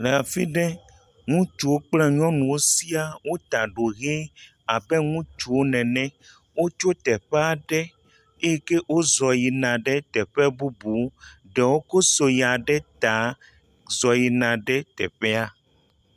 Le afi ɖe, ŋutsuwo kple nyɔnuwo sia wota ɖo hẽ abe ŋutsuwo nene. Wotso teƒe aɖe eye ke wozɔ yina ɖe teƒe bubu. Ɖewo ko soya ɖe ta zɔ yina ɖe teƒea.